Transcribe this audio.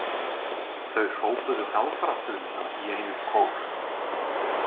Þau hrópuðu galdraþuluna í einum kór.